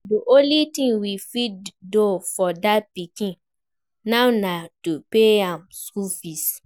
The only thing we fit do for dat pikin now na to pay im school fees